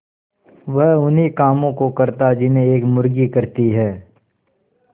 वह उन्ही कामों को करता जिन्हें एक मुर्गी करती है